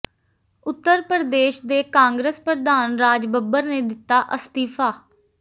ਉਤਰ ਪ੍ਰਦੇਸ਼ ਦੇ ਕਾਂਗਰਸ ਪ੍ਰਧਾਨ ਰਾਜ ਬੱਬਰ ਨੇ ਦਿੱਤਾ ਅਸਤੀਫਾ